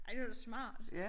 Ej det var da smart